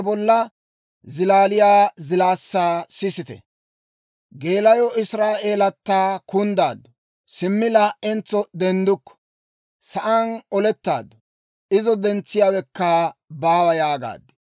«Wodoro Israa'eelatta kunddaaddu; simmi laa"entso denddukku. Sa'aan olettaaddu; izo dentsiyaawekka baawa!» yaagaad.